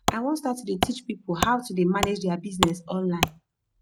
i wan start to dey teach people how to dey manage dia business online